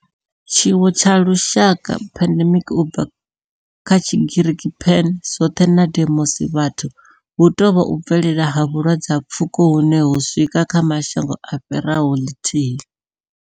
Tshiwo tsha lushaka pandemic, u bva kha Tshigiriki pan, zwothe na demos, vhathu hu tou vha u bvelela ha vhulwadze ha pfuko hune ho swika kha mashango a fhiraho lithihi.